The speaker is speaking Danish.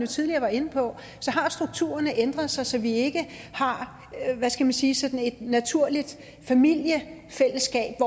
tidligere var inde på strukturerne har ændret sig så vi ikke har hvad skal man sige sådan et naturligt familiefællesskab